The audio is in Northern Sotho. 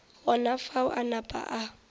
gona fao a napa a